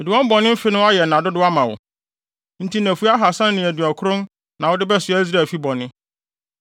Mede wɔn bɔne mfe no ayɛ nna dodow ama wo. Enti nnafua ahaasa ne aduɔkron na wode bɛsoa Israelfi bɔne.